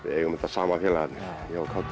við eigum þetta saman félagarnir ég og kátur